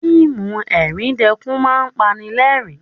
Fíìmù ẹ̀ríndẹkún máa ń pani lẹ́kún